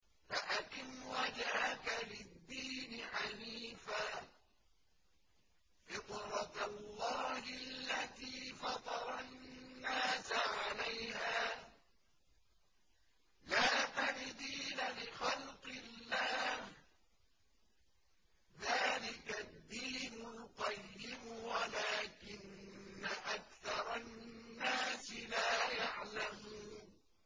فَأَقِمْ وَجْهَكَ لِلدِّينِ حَنِيفًا ۚ فِطْرَتَ اللَّهِ الَّتِي فَطَرَ النَّاسَ عَلَيْهَا ۚ لَا تَبْدِيلَ لِخَلْقِ اللَّهِ ۚ ذَٰلِكَ الدِّينُ الْقَيِّمُ وَلَٰكِنَّ أَكْثَرَ النَّاسِ لَا يَعْلَمُونَ